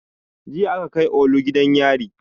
Jiya aka kai olu gidan yari